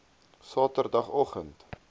sateroggend